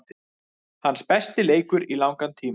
Hans besti leikur í langan tíma.